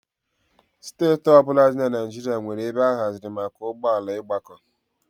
Steeti ọ bụla dị na Naịjirịa nwere ebe a haziri maka ụgbọ ala ịgbakọ.